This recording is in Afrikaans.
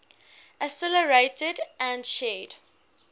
accelerated and shared